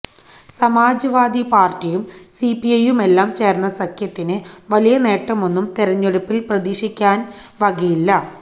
സമാജ് വാദി പാര്ട്ടിയും സിപിഐയുമെല്ലാം ചേര്ന്ന സഖ്യത്തിന് വലിയ നേട്ടമൊന്നും തിരഞ്ഞെടുപ്പില് പ്രതീക്ഷിക്കാന് വകയില്ല